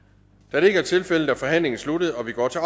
da det ikke er tilfældet er forhandlingen sluttet og vi går til